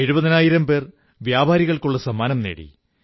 എഴുപതിനായിരം പേർ വ്യാപാരികൾക്കുള്ള സമ്മാനങ്ങൾ നേടി